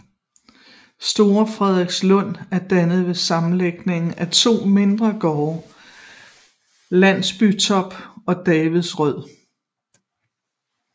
Store Frederikslund er dannet ved sammenlægning af de to mindre gårde Landbytorp og Davidsrød